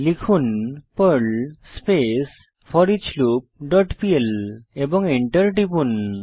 লিখুন Perl space foreach loop dot PL এবং Enter টিপুন